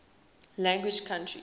language countries